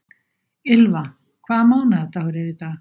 Ylva, hvaða mánaðardagur er í dag?